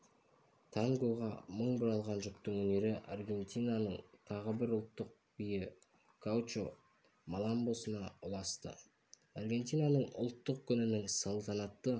тангоға мың бұралған жұптың өнері аргентинаның тағы бір ұлттық биі гаучо-маламбосына ұласты аргентинаның ұлттық күнінің салтанатты